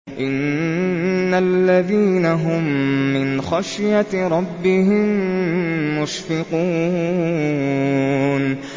إِنَّ الَّذِينَ هُم مِّنْ خَشْيَةِ رَبِّهِم مُّشْفِقُونَ